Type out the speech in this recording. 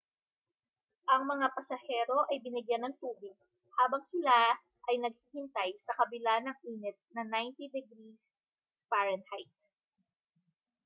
ang mga pasahero ay binigyan ng tubig habang sila ay naghihintay sa kabila ng init na 90f-degree